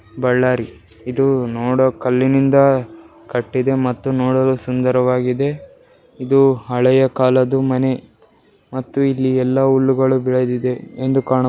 ಬಳ್ಳಾರಿ ಇದು ನೋಡೋಕ್ ಕಲ್ಲಿನಿಂದ ಕಟ್ಟಿದೆ ಮತ್ತು ನೋಡಲು ಸುಂದರವಾಗಿದೆ ಇದು ಹಳೆಯ ಕಾಲದ ಮನೆ ಮತ್ತು ಇಲ್ಲಿ ಎಲ್ಲ ಹುಲ್ಲುಗಳು ಬೆಳದಿದೆ --